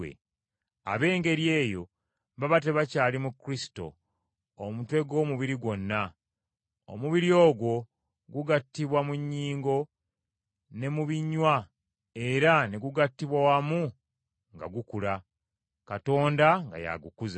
Ab’engeri eyo baba tebakyali mu Kristo, omutwe gw’omubiri gwonna. Omubiri ogwo gugattibwa mu nnyingo ne mu binywa era ne gugattibwa wamu nga gukula, Katonda nga y’agukuza.